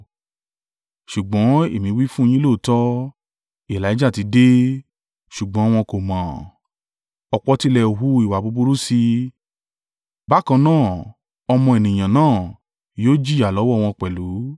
Ṣùgbọ́n èmi wí fún yín lóòótọ́; Elijah ti dé. Ṣùgbọ́n wọn kò mọ̀ ọ́n, ọ̀pọ̀ tilẹ̀ hu ìwà búburú sí i. Bákan náà, Ọmọ Ènìyàn náà yóò jìyà lọ́wọ́ wọn pẹ̀lú.”